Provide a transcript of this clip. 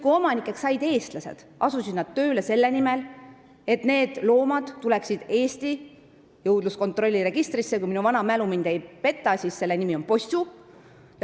Kui omanikeks said eestlased, asusid nad tööle selle nimel, et need loomad tuleksid üle Eesti jõudluskontrolliregistrisse, mille nimi, kui mu vana mälu mind ei peta, on Possu.